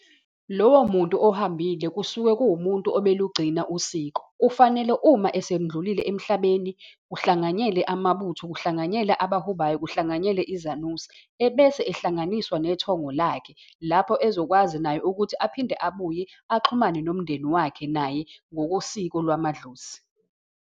Lowo muntu ohambile kusuke kuwumuntu obelugcina usiko. Kufanele uma esendlulile emhlabeni, kuhlanganyele amabutho, kuhlanganyele abahubayo, kuhlanganyele izanusi. Ebese ehlanganiswa nethongo lakhe, lapho ezokwazi naye ukuthi aphinde abuye axhumane nomndeni wakhe naye, ngokosiko lwamadlozi.